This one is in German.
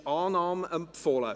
Es ist zur Annahme empfohlen.